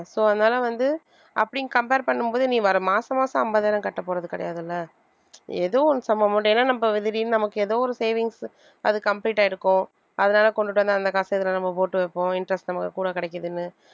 so அதனால வந்து அப்படின்னு compare பண்ணும் போது நீ வர மாசம் மாசம் ஐம்பதாயிரம் கட்டப்போறது கிடையாது இல்லை ஏதோ ஒண்ணு some amount ஏன்னா நம்ம திடீர்ன்னு நமக்கு ஏதோ ஒரு savings அது complete ஆயிருக்கும் அதனால கொண்டுட்டு வந்து அந்த காசை இதுல நம்ம போட்டு வைப்போம் interest நமக்கு கூட கிடைக்குதுன்னு